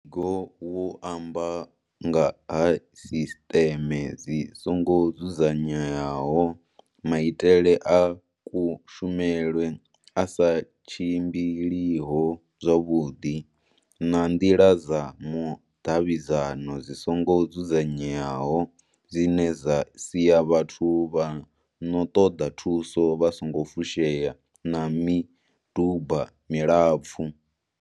Muvhigo wo amba nga ha sisteme dzi songo dzudzanyeaho, maitele a kushumele a sa tshimbiliho zwavhuḓi na nḓila dza vhudavhidzani dzi songo dzudza nyeaho dzine dza sia vhathu vha no ṱoḓa thuso vha songo fushea na miduba milapfu.